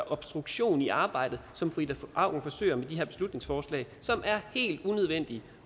obstruktion i arbejdet som fru ida auken forsøger med det her beslutningsforslag som er helt unødvendigt